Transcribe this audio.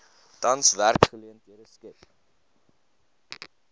tans werksgeleenthede skep